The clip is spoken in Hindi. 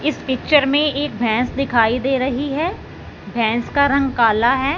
इस पिक्चर में एक भैंस दिखाई दे रही है भैंस का रंग काला है।